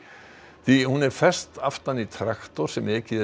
því hún er fest aftan í traktor sem ekið er